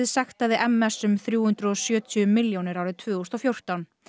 sektaði m s um þrjú hundruð og sjötíu milljónir árið tvö þúsund og fjórtán